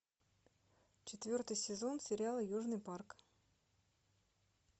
четвертый сезон сериала южный парк